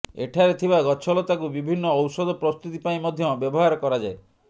ଏଠାରେ ଥିବା ଗଛଲତାକୁ ବିଭିନ୍ନ ଔଷଧ ପ୍ରସ୍ତୁତି ପାଇଁ ମଧ୍ୟ ବ୍ୟବହାର କରାଯାଏ